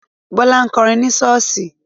Bọ́lá ń kọrin ni ṣọ́ọ̀ṣì.